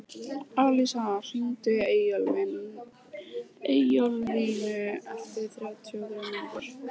Alisa, hringdu í Eyjólflínu eftir þrjátíu og þrjár mínútur.